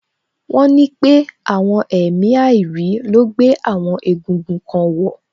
Wọ́n ní pé àwọn èmi àìrí ló gbé àwọn egúngún kan wọ̀